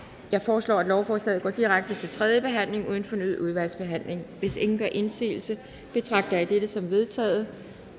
jeg foreslår at lovforslaget går direkte til tredje behandling uden fornyet udvalgsbehandling hvis ingen gør indsigelse betragter jeg dette som vedtaget